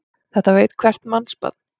Þetta veit hvert mannsbarn.